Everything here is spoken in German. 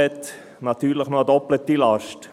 Das ist natürlich eine doppelte Last.